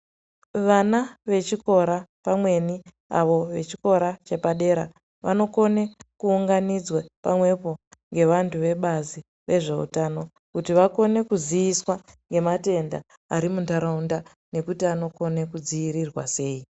Vana vechikora pamweni avo vechikora chepadera vanokone kuunganidzwe pamwepo ngevantu vebazi vezveutano kuti vakone kuziviswa nematenda ari mundaraunda nekuti anokone kudzivirirwa sei.